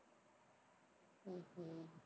உம் உம்